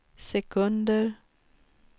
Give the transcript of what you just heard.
sekunder